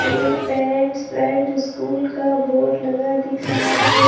ये parents pride school का board लगा दिख रहा हैं।